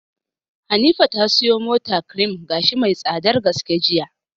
Hanifa ta siyo mata cream gashi mai tsadar gaske jiya.